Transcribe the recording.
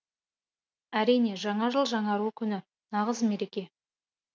әрине жаңа жыл жаңару күні нағыз мереке